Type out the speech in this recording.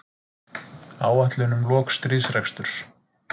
Áætlun um lok stríðsreksturs